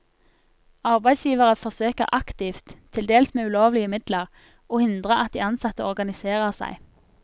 Arbeidsgivere forsøker aktivt, til dels med ulovlige midler, å hindre at de ansatte organiserer seg.